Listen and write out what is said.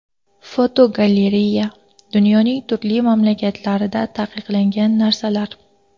Fotogalereya: Dunyoning turli mamlakatlarida taqiqlangan narsalar.